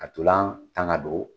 Ka ntolan tan ka don